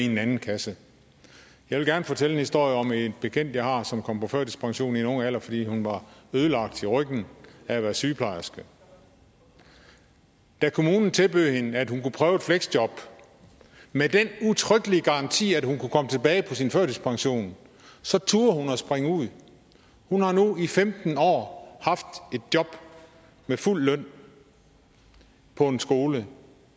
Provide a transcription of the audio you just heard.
den anden kasse jeg vil gerne fortælle en historie om en bekendt jeg har som kom på førtidspension i en ung alder fordi hun var ødelagt i ryggen af at være sygeplejerske da kommunen tilbød hende at hun kunne prøve et fleksjob med den udtrykkelige garanti at hun kunne komme tilbage på sin førtidspension så turde hun springe ud hun har nu i femten år haft et job med fuld løn på en skole